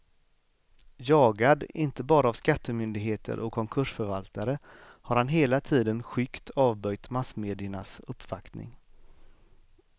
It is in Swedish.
Jagad, inte bara av skattemyndigheter och konkursförvaltare, har han hela tiden skyggt avböjt massmediernas uppvaktning.